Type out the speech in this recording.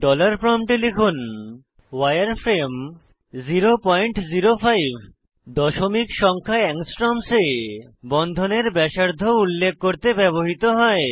dollar প্রম্পটে লিখুন উয়ারফ্রেমে 005 দশমিক সংখ্যা অ্যাংস্ট্রমস এ বন্ধনের ব্যাসার্ধ উল্লেখ করতে ব্যবহৃত হয়